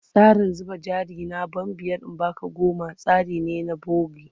Tsarin zuba jari na ban biyar in ba ka goma tsari ne na bogi.